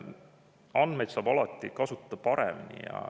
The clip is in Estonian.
Andmeid saab alati kasutada paremini.